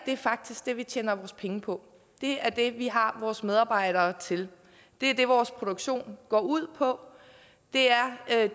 er faktisk det vi tjener penge på det er det vi har vores medarbejdere til det er det vores produktion går ud på det er